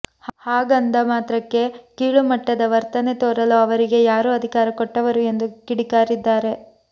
ಹಾಗಂದ ಮಾತ್ರಕ್ಕೆ ಕೀಳು ಮಟ್ಟದ ವರ್ತನೆ ತೋರಲು ಅವರಿಗೆ ಯಾರು ಅಧಿಕಾರ ಕೊಟ್ಟವರು ಎಂದು ಕಿಡಿಕಾರಿದ್ದಾರೆ